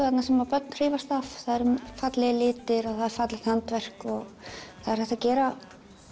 þarna sem börn hrífast af fallegir litir og handverk og hægt að gera